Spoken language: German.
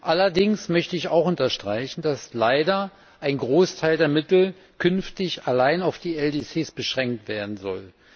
Allerdings möchte ich auch unterstreichen, dass leider ein Großteil der Mittel künftig allein auf die LDCs beschränkt werden soll.